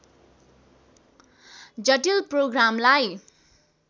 जटिल प्रोग्रामलाई